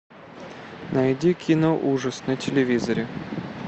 найди кино ужас на телевизоре